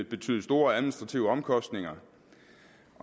betyde store administrative omkostninger